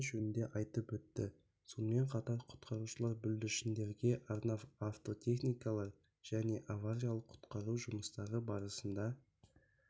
қауіптілігі жөнінде айтып өтті сонымен қатар құтқарушылар бүлдіршіндерге арнап автотехникалар және авариялық құтқару жұмыстары барысында